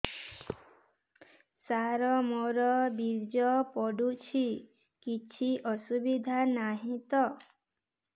ସାର ମୋର ବୀର୍ଯ୍ୟ ପଡୁଛି କିଛି ଅସୁବିଧା ନାହିଁ ତ